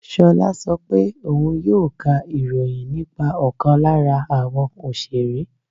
Ṣolá sọ pé òun yóò ká ìròyìn nípa ọkàn lára àwọn Òṣeré.